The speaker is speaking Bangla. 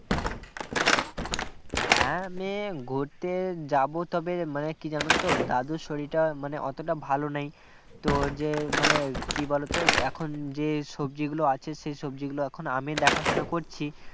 হ্যাঁ মানে ঘুরতে যাব তবে মানে কি জানো তো দাদুর শরীরটা মানে অতটা ভালো নেই তো যে মানে কি বলতো এখন যে সবজি গুলো আছে সেই সবজিগুলো এখন আমি দেখাশোনা করছি